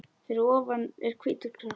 Fyrir ofan er hvítur kross.